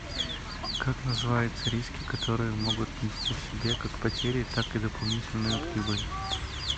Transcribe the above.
как называется риски которые могут нести в себе как потери так и дополнительную прибыль